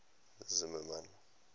zimmermann